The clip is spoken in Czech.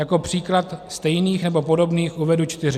Jako příklad stejných nebo podobných uvedu čtyři.